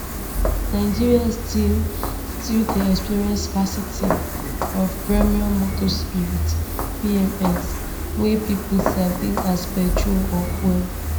nigerians still still dey experience scarcity of premium motor spirit pms wey pipo sabi as petrol or fuel